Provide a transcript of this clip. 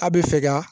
A bɛ fɛ ka